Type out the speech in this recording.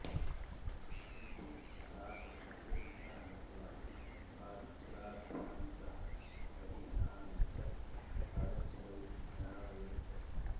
किन्तु सा कक्षस्य अन्तः गत्वा पादच्छदाभ्यां सह बहिः आगच्छत् पादच्छदौ अधारयत् च